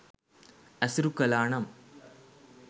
ඇසුරු කළා නම්